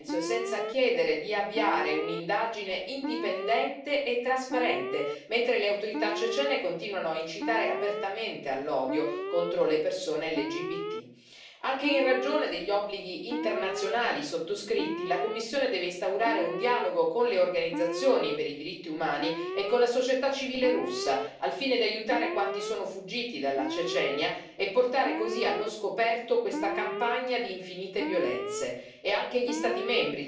L'Unione non può più restare in silenzio, senza chiedere di avviare un'indagine indipendente e trasparente, mentre le autorità cecene continuano a incitare apertamente all'odio contro le persone LGBT. Anche in ragione degli obblighi internazionali sottoscritti, la Commissione deve instaurare un dialogo con le organizzazioni per i diritti umani e con la società civile russa, al fine di aiutare quanti sono fuggiti dalla Cecenia e portare così allo scoperto questa campagna di infinite violenze.